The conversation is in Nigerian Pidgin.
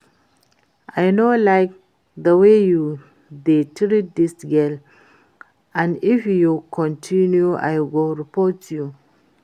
I no like the way you dey treat dis girl and if you continue I go report you